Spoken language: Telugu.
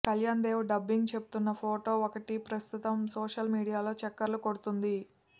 కళ్యాణ్ దేవ్ డబ్బింగ్ చెబుతున్న ఫోటో ఒకటి ప్రస్తుతం సోషల్ మీడియాలో చక్కర్లు కొడుతుంది